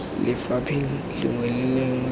lefapheng lengwe le lengwe o